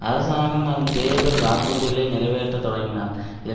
அரசாங்கம் அதன் தேர்தல் வாக்குறுதிகளை நிறைவேற்ற தொடங்கினால் இது